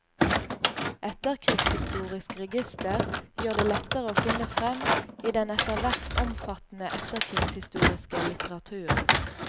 Etterkrigshistorisk register gjør det lettere å finne frem i den etter hvert omfattende etterkrigshistoriske litteraturen.